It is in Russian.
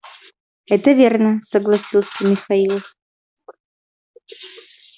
это верно согласился михаил